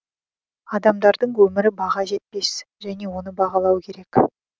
адамдардың өмірі баға жетпес және оны бағалау керек